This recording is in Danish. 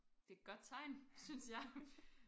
Det et godt tegn synes jeg